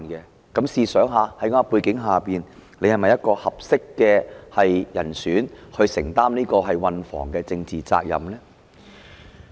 大家試想想，在這種背景下，局長是否一個合適的人選來承擔運房局的政治責任呢？